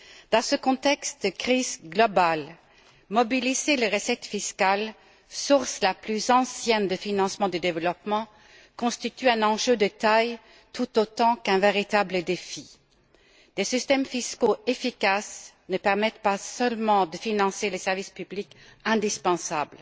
Dans ce contexte de crise globale, mobiliser les recettes fiscales, source la plus ancienne de financement du développement, constitue un enjeu de taille tout autant qu'un véritable défi. Des systèmes fiscaux efficaces ne permettent pas seulement de financer les services publics indispensables.